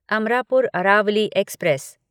Amarapur Aravali express